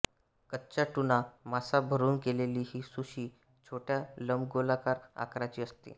कच्चा ट्यूना मासा भरून केलेली ही सुशी छोट्या लंबगोलाकार आकाराची असते